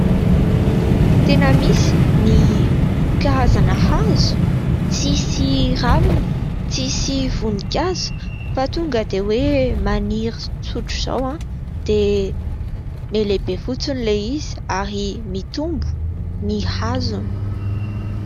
Tena misy ny karazana hazo tsy misy ravina, tsy misy voninkazo fa tonga dia hoe maniry tsotr' izao ao dia miha lehibe fotsiny ilay izy ary mitombo ny hazony.